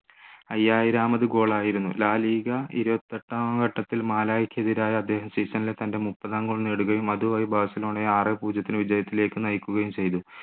ഐയ്യായിരാമത് goal ആയിരുന്നു la liga ഇരുപത്തിയെട്ടാം ഘട്ടത്തിൽ മാലായിക്കെതിരെ season ലെ തൻ്റെ മുപ്പതാം goal നേടുകയും അതുമായി ബാർസിലോണ ആറേ പൂജ്യത്തിന് വിജയത്തിലേക്ക് നയിക്കുകയും ചെയ്തു